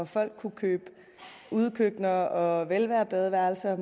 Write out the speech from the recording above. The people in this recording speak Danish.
folk kunne købe udekøkkener og velværebadeværelser og